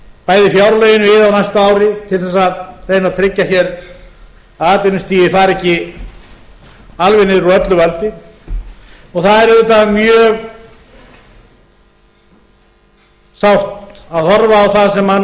bæði fjárlögin á næsta ári til þess að reyna að tryggja hér að atvinnustigið fari ekki alveg niður úr öllu valdi og það er auðvitað mjög sárt að horfa á það sem